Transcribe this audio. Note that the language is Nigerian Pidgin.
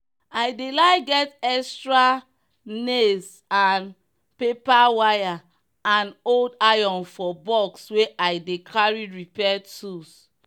i dey like get extra nailssandpaperwire and old iron for box wey i dey carry repair tools.